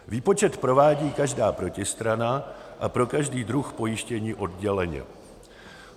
Výpočet provádí každá protistrana a pro každý druh pojištění odděleně.